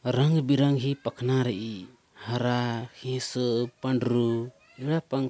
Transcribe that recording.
रंग बिरंगी ही पखना रही हरा हिशू पंडरू --